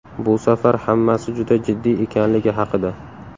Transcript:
Bu safar hammasi juda jiddiy ekanligi haqida !